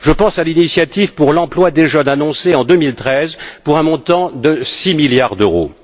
Je pense à l'initiative pour l'emploi des jeunes annoncée en 2013 pour un montant de 6 milliards d'euros.